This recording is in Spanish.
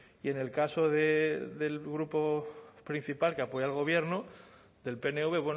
y en el caso del grupo principal que apoya al gobierno del pnv